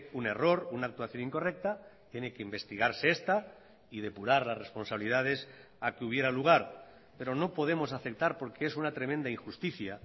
un error una actuación incorrecta tiene que investigarse esta y depurar las responsabilidades a que hubiera lugar pero no podemos aceptar porque es una tremenda injusticia